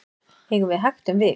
eigum við hægt um vik